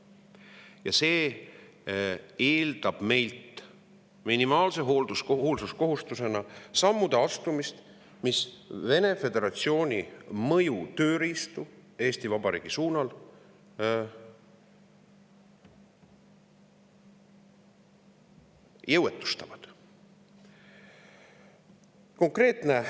Ja see eeldab meilt minimaalse hoolsuskohustusena samme, mis Vene föderatsiooni mõju tööriistu Eesti Vabariigi suunal jõuetustavad.